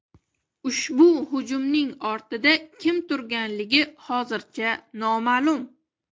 Ushbu hujumning ortida kim turganligi hozircha noma’lum.